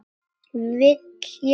Vildi ég sjá þetta?